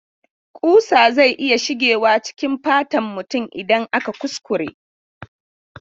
Kusa zai iya shigewa cikin fatan mutum idan aka kuskure.